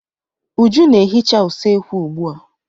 Uju na-ehica usekwu ugbua.